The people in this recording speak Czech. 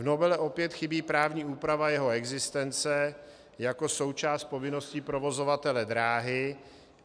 V novele opět chybí právní úprava jeho existence jako součást povinnosti provozovatele dráhy.